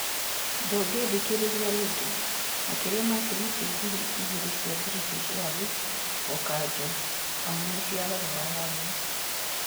Ndũngĩthikĩrĩria rĩngi; Makĩria ma tigiti ngiri igĩrĩ cia British Airways gũkanjwo amu nĩ cia thogora wa thĩ